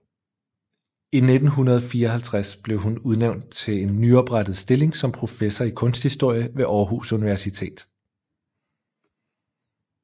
I 1954 blev hun udnævnt til en nyoprettet stilling som professor i kunsthistorie ved Aarhus Universitet